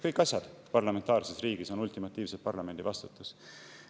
Kõik asjad on parlamentaarses riigis ultimatiivselt parlamendi vastutus.